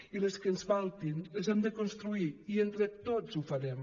i les que ens faltin les hem de construir i entre tots ho farem